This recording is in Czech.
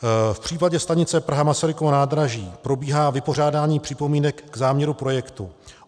V případě stanice Praha - Masarykovo nádraží probíhá vypořádání připomínek k záměru projektu.